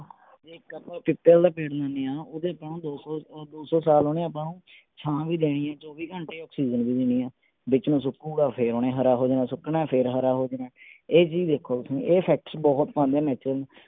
ਇੱਕ ਆਪਾ ਪਿੱਪਲ ਦਾ ਪੇੜ ਲੈਣੇ ਆ ਓਹਦੇ ਤਾਂ ਦੋ ਸੋ ਦੋ ਸੋ ਸਾਲ ਓਹਨੇ ਆਪਾ ਨੂੰ ਛਾਂ ਵੀ ਦੇਣੀ ਆ ਚੋਵੀ ਘੰਟੇ ਆਕਸੀਜਨ ਵੀ ਦੇਣੀ ਆ, ਵਿਚੋ ਸੁਕੁਗਾ ਫੇਰ ਓਹਨੇ ਹਰਾ ਹੋ ਜਾਣਾ, ਸੁਕਣਾ ਫੇਰ ਹਰਾ ਹੋ ਜਾਣਾ ਇਹ ਚੀਜ਼ ਵੇਖੋ ਤੁਸੀਂ ਇਹ।